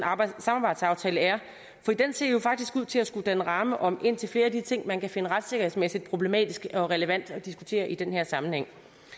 samarbejdsaftale er for den ser jo faktisk ud til at skulle danne ramme om indtil flere af de ting man kan finde retssikkerhedsmæssigt problematisk og relevant at diskutere i den her sammenhæng